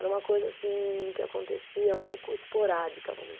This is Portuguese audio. Era uma coisa que acontecia um pouco esporádica, vamos